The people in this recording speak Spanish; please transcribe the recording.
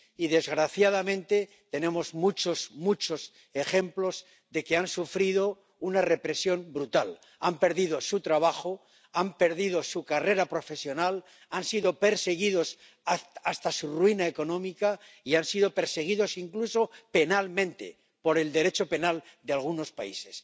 Y, desgraciadamente, tenemos muchos, muchos ejemplos de que han sufrido una represión brutal, han perdido su trabajo, han perdido su carrera profesional, han sido perseguidos hasta su ruina económica y han sido perseguidos incluso penalmente por el Derecho penal de algunos países.